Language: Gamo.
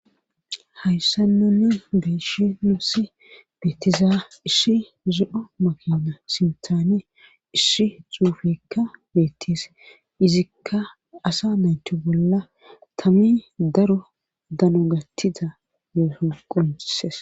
Hayssanonne beeshi nussi beetiza ishi zi7o makena simtaane isshi xuufekka beettis izikka asa nayti bolla tami daro dano gattiza yooson qumuses